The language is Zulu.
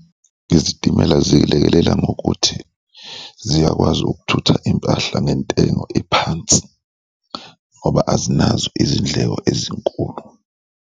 Izitimela zilekelela ngokuthi ziyakwazi ukuthutha impahla ngentengo ephansi ngoba azinazo izindleko ezinkulu.